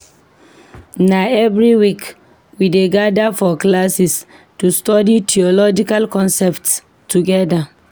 Na every week, we dey gather for classes to study theological concepts together.